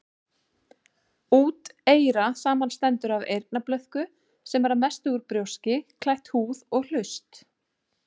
Úteyra samanstendur af eyrnablöðku, sem er að mestu út brjóski, klætt húð, og hlust.